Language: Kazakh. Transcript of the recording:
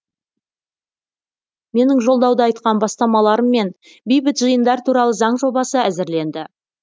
менің жолдауда айтқан бастамаларыммен бейбіт жиындар туралы заң жобасы әзірленді